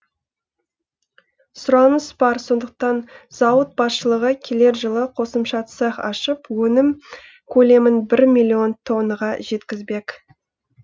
сұраныс бар сондықтан зауыт басшылығы келер жылы қосымша цех ашып өнім көлемін бір миллион тоннаға жеткізбек